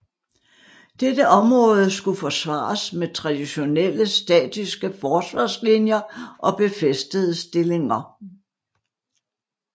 Dette område skulle forsvares med traditionelle statiske forsvarslinjer og befæstede stillinger